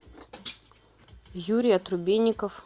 юрий отрубейников